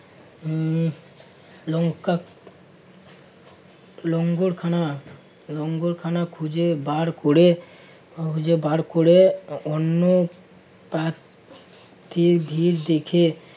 হম লঙ্কা লঙ্গরখানা~ লঙ্গরখানা খুঁজে বার করে~ খুঁজে বার করে অন্য প্রা~ প্রার্থীর ভিড় দেখে